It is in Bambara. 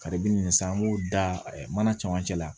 Karibe nin san an b'o da ɛ mana camancɛ la